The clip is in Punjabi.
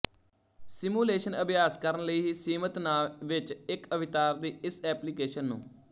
ਸਿਮੂਲੇਸ਼ਨ ਅਭਿਆਸ ਕਰਨ ਲਈ ਹੀ ਸੀਮਿਤ ਨਾ ਵਿੱਚ ਇੱਕ ਅਵਤਾਰ ਦੀ ਇਸ ਐਪਲੀਕੇਸ਼ਨ ਨੂੰ